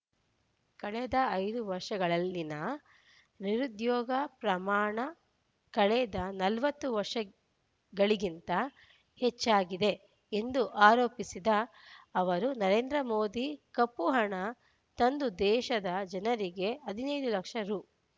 ಕಳೆದ ಐದು ವರ್ಷಗಳಲ್ಲಿನ ನಿರುದ್ಯೋಗ ಪ್ರಮಾಣ ಕಳೆದ ನಲವತ್ತು ವರ್ಷಗಳಿಗಿಂತ ಹೆಚ್ಚಾಗಿದೆ ಎಂದು ಆರೋಪಿಸಿದ ಅವರು ನರೇಂದ್ರ ಮೋದಿ ಕಪ್ಪುಹಣ ತಂದು ದೇಶದ ಜನರಿಗೆ ಹದಿನೈದು ಲಕ್ಷ ರೂ